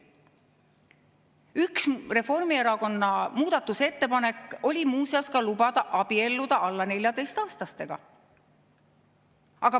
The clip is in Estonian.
Üks Reformierakonna muudatusettepanek oli muuseas lubada abielluda alla 14‑aastastega.